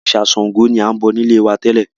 Òrìṣà Sángo ni a ń bọ nílé wá tẹ́lẹ̀